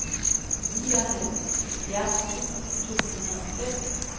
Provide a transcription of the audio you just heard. nioghalvfjerds tusind to hundrede og fem